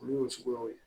Olu ye suguyaw ye